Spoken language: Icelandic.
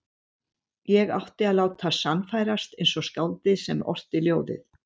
Ég átti að láta sannfærast eins og skáldið sem orti ljóðið.